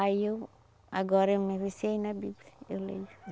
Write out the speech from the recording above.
Aí eu, agora eu me viciei na Bíblia, eu leio.